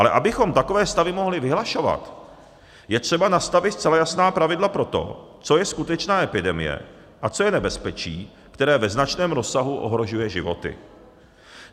Ale abychom takové stavy mohli vyhlašovat, je třeba nastavit zcela jasná pravidla pro to, co je skutečná epidemie a co je nebezpečí, které ve značném rozsahu ohrožuje životy.